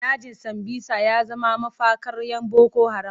Dajin Sambisa ya zama mafakar 'yan boko haram.